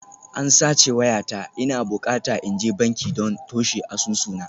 An sace wayata, ina bukata in je banki don toshe asusuna